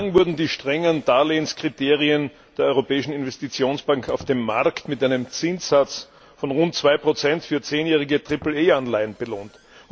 Bislang wurden die strengen Darlehenskriterien der Europäischen Investitionsbank auf dem Markt mit einem Zinssatz von rund 2 für zehnjährige Triple A Anleihen belohnt.